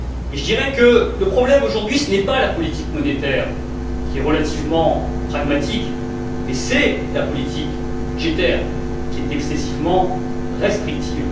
Je dirais que le problème, aujourd'hui, n'est pas la politique monétaire, qui est relativement pragmatique, mais plutôt la politique budgétaire, qui est excessivement restrictive.